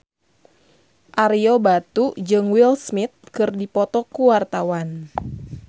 Ario Batu jeung Will Smith keur dipoto ku wartawan